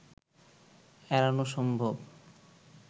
এড়ানো সম্ভব